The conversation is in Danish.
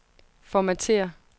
formatér